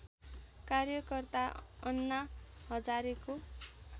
कार्यकर्ता अन्ना हजारेको